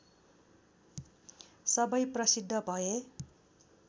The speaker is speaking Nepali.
सबै प्रसिद्ध भए